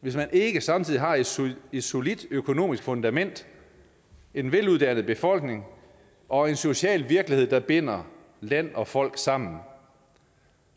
hvis man ikke samtidig har et solidt et solidt økonomisk fundament en veluddannet befolkning og en social virkelighed der binder land og folk sammen